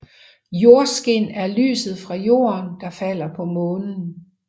Jordskin er lyset fra Jorden der falder på Månen